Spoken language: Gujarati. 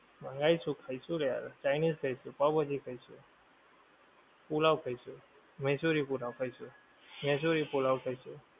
મંગાઈશું ખઈશું રે યાર chinese ખાઈશું પાવ ભાજી ખઈશું પુલાવ ખઈશું મૈસુરી પુલાવ ખઈશું મૈસુરી પુલાવ ખઈશું